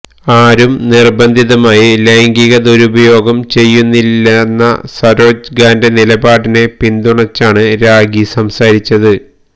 ആരും നിർബന്ധിതമായി ലൈംഗിക ദുരുപയോഗം ചെയ്യുന്നില്ലെന്ന സരോജ് ഖാന്റെ നിലപാടിനെ പിന്തുണച്ചാണ് രാഖി സംസാരിച്ചത്